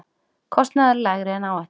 Kostnaður lægri en áætlun